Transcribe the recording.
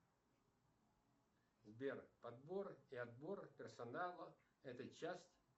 сбер подбор и отбор персонала это часть